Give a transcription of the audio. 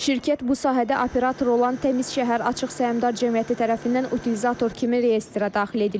Şirkət bu sahədə operator olan Təmiz Şəhər açıq səhmdar cəmiyyəti tərəfindən utilizator kimi reyestrə daxil edilib.